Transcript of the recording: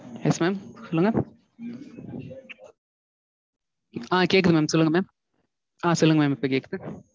Yes mam சொல்லுங்க ஆஹ் கேக்குது mam சொல்லுங்க mam ஆஹ் சொல்லுங்க mam இப்போ கேக்குது.